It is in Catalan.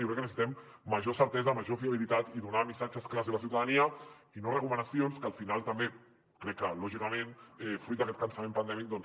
jo crec que necessitem major certesa major fiabilitat i donar missatges clars a la ciutadania i no recomanacions que al final també crec que lògicament fruit d’aquest cansament pandèmic